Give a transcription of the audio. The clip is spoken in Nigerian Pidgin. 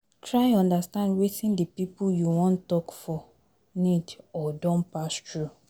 Try understand wetin di pipo you won talk for need or don pass through